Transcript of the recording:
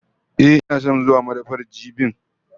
Ehh, ina son zuwa madafar jibin?